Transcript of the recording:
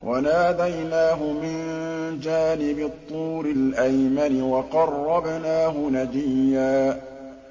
وَنَادَيْنَاهُ مِن جَانِبِ الطُّورِ الْأَيْمَنِ وَقَرَّبْنَاهُ نَجِيًّا